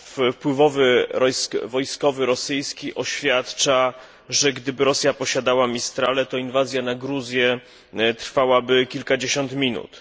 Wpływowy rosyjski wojskowy oświadczył, że gdyby Rosja posiadała Mistrale, to inwazja na Gruzję trwałaby kilkadziesiąt minut.